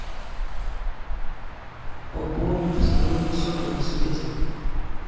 пополнить в салоне сотовой связи